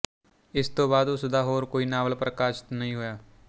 ਇਸ ਤੋਂ ਬਾਅਦ ਉਸ ਦਾ ਹੋਰ ਕੋਈ ਨਾਵਲ ਪ੍ਰਕਾਸ਼ਤ ਨਹੀਂ ਹੋਇਆ